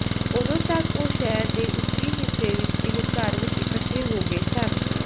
ਉਦੋਂ ਤਕ ਉਹ ਸ਼ਹਿਰ ਦੇ ਉੱਤਰੀ ਹਿੱਸੇ ਵਿਚ ਇਕ ਘਰ ਵਿਚ ਇਕੱਠੇ ਹੋ ਗਏ ਸਨ